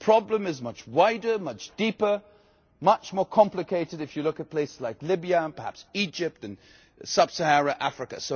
The problem is much wider, much deeper, much more complicated if you look at places like Libya, and perhaps Egypt and Sub-Saharan Africa.